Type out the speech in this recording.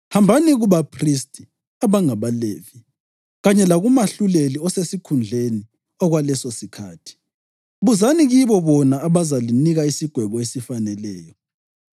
Hambani kubaphristi, abangabaLevi, kanye lakumahluleli osesikhundleni okwalesosikhathi. Buzani kibo bona bazalinika isigwebo esifaneleyo.